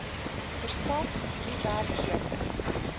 verskaf u werkgewer